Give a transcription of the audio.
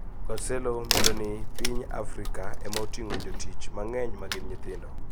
Guarcello medo ni piny Afrika ema oting`o jotich mang`eny magin nyithindo